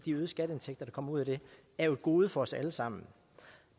øgede skatteindtægter der kommer ud af det er jo et gode for os alle sammen